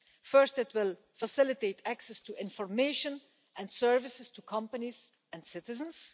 First, it will facilitate access to information and services to companies and citizens.